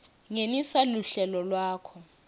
ngenisa luhlelo lwakho